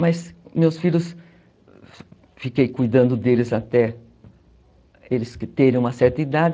Mas meus filhos, fiquei cuidando deles até eles terem uma certa idade.